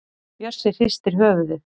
Bjössi hristir höfuðið.